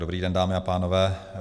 Dobrý den, dámy a pánové.